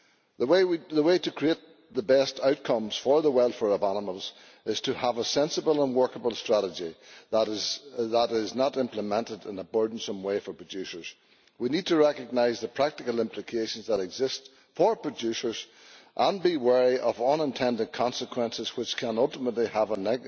The way to create the best outcomes for the welfare of animals is to have a sensible and workable strategy that is not implemented in a burdensome way for producers. We need to recognise the practical implications that exist for producers and be wary of unintended consequences which can ultimately have a